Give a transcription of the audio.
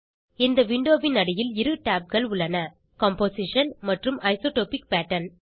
இந்த விண்டோவின் அடியில் இரு tabகள் உள்ளன கம்போசிஷன் மற்றும் ஐசோடோபிக் பேட்டர்ன்